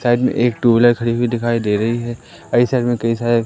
side में एक two wheeler खडो हुई दिखाई दे रही है ऐसा में कई सारे--